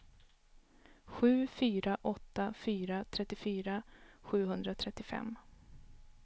sju fyra åtta fyra trettiofyra sjuhundratrettiofem